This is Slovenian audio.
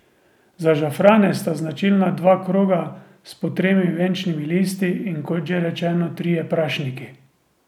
Za žafrane sta značilna dva kroga s po tremi venčnimi listi in kot že rečeno trije prašniki.